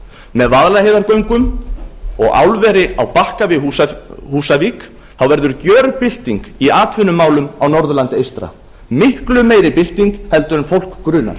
með vaðlaheiðargöngum og álveri á bakka við húsavík verður gjörbylting í atvinnumálum á norðurlandi eystra miklu meiri bylting en fólk grunar